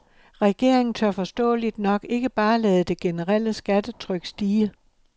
Regeringen tør forståeligt nok ikke bare lade det generelle skattetryk stige.